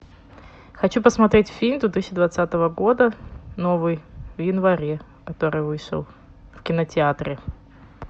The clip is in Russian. хочу посмотреть фильм две тысячи двадцатого года новый в январе который вышел в кинотеатре